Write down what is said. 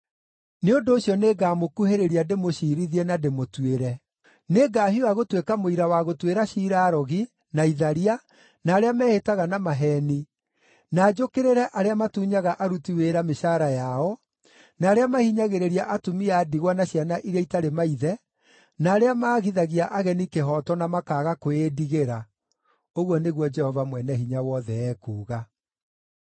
“Nĩ ũndũ ũcio nĩngamũkuhĩrĩria ndĩmũciirithie na ndĩmũtuĩre. Nĩngahiũha gũtuĩka mũira wa gũtuĩra ciira arogi, na itharia, na arĩa mehĩtaga na maheeni, na njũkĩrĩre arĩa matunyaga aruti wĩra mĩcaara yao, na arĩa mahinyagĩrĩria atumia a ndigwa na ciana iria itarĩ maithe, na arĩa maagithagia ageni kĩhooto na makaaga kwĩĩndigĩra,” ũguo nĩguo Jehova Mwene-Hinya-Wothe ekuuga.